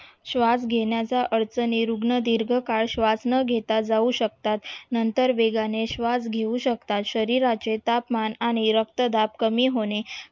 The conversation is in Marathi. श्वास घेण्याचा अर्थ निरुग्ण दीर्घकल श्वास न घेता जाऊ शकतात नंतर वेगाने श्वास घेऊ शकतात शरीराचे तापमान आणि रक्तदाब कमी होणे